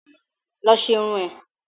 Lọ ṣe irun ẹ̀!